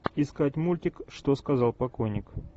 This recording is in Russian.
искать мультик что сказал покойник